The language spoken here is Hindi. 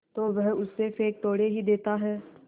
तो वह उसे फेंक थोड़े ही देता है